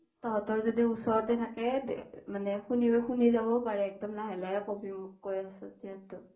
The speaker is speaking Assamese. তহতৰ যদি ওচৰতে থাকে মানে শুনি যাব পাৰে একডম লাহে লাহে কবি মোক কৈ আছ যিহেতু